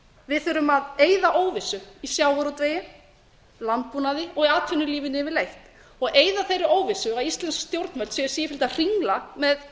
við þurfum að eyða óvissu í sjávarútvegi landbúnaði og í atvinnulífinu yfirleitt og eyða þeirri óvissu að íslensk stjórnvöld séu sífellt að hringla með